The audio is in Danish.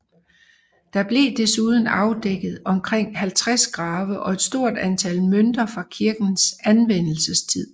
Der blev desuden afdækket omkring 50 grave og et stort antal mønter fra kirkens anvendelsestid